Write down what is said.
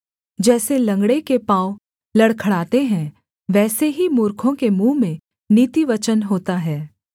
जैसे लँगड़े के पाँव लड़खड़ाते हैं वैसे ही मूर्खों के मुँह में नीतिवचन होता है